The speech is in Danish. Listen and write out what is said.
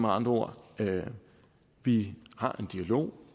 andre ord vi har en dialog